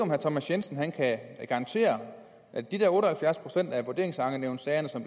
herre thomas jensen kan garantere at de der otte og halvfjerds procent af vurderingsankenævnssagerne som